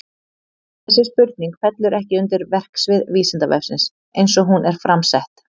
Þessi spurning fellur ekki undir verksvið Vísindavefsins eins og hún er fram sett.